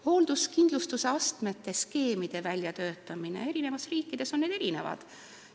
Hoolduskindlustuse astmete ja skeemide väljatöötamine – eri riikides on need erinevad.